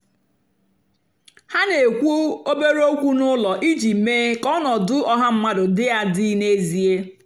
ha na-èkwú òbèré ókwú n’ụ́lọ́ ijì meé kà ọnọ́dụ́ ọ́ha mmadụ́ dị́ àdị́ n'ézìè.